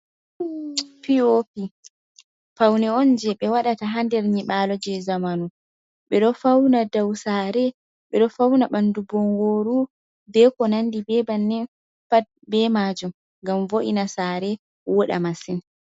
Pi'opi pawne on, jey ɓe waɗata haa nder nyiaaalo jey zamanu. Ɓe ɗo fawna dow saare ,ɓe ɗo fawna ɓanndu bonngooru. Be ko nanndi be bannin pat ,be maajum ngam vo’ina saare wooɗa masin.